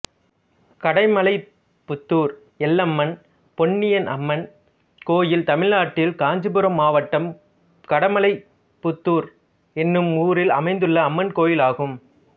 கடமலைப்புத்தூர் எல்லம்மன் பொன்னியம்மன் கோயில் தமிழ்நாட்டில் காஞ்சிபுரம் மாவட்டம் கடமலைப்புத்தூர் என்னும் ஊரில் அமைந்துள்ள அம்மன் கோயிலாகும்